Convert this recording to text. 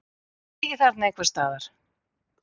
Ertu ekki þarna einhvers staðar?